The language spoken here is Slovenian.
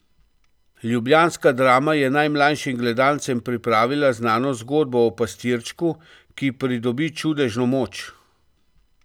Ljubljanska drama je najmlajšim gledalcem pripravila znano zgodbo o pastirčku, ki pridobi čudežno moč.